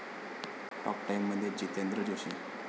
talk टाइम'मध्ये जितेंद्र जोशी